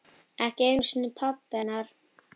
Ekki einu sinni pabbi hennar.